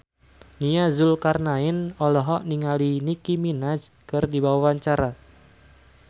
Nia Zulkarnaen olohok ningali Nicky Minaj keur diwawancara